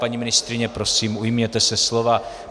Paní ministryně, prosím ujměte se slova.